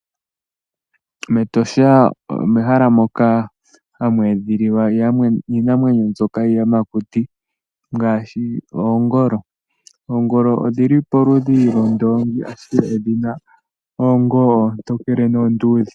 MEtosha omehala moka hamu edhililwa iinamwenyo mbyoka yiiyamakuti ngaashi oongolo. Oongolo odhi li poludhi lwoondoongi, ashike odhi na oondjila oontokele noonduudhe.